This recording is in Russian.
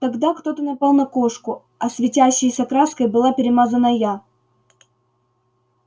тогда кто-то напал на кошку а светящейся краской была перемазана я